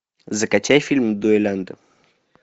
закачай фильм дуэлянты